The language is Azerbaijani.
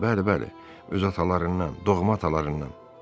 Bəli, bəli, öz atalarından, doğma atalarından.